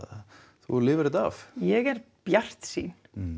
þú lifir þetta af ég er bjartsýn